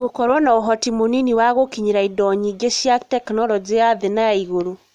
Gũkorwo na ũhoti mũnini wa gũkinyĩra indo nyingĩ cia tekinoronjĩ ya thĩ na ya igũrũ.